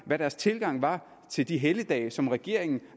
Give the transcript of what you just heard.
hvad deres tilgang var til de helligdage som regeringen